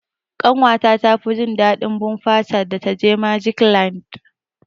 Ƙanwa ta tafi jin daɗin bumper car da ta je magic land.